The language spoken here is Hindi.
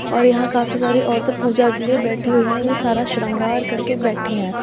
और यहां काफी सारी औरतें पूजा के लिए बैठी हुई हैं जो सारा श्रृंगार करके बैठी हैं।